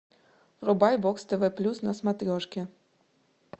врубай бокс тв плюс на смотрешке